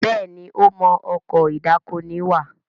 Béèni o mọ Ọkọ̀ ìdákoní wà.